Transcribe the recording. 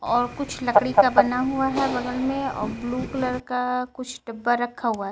और कुछ लकड़ी का बना हुआ है बगल में और ब्लू कलर का कुछ डब्बा रखा हुआ है.